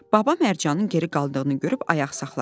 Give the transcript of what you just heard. Baba Mərcanın geri qaldığını görüb ayaq saxladı.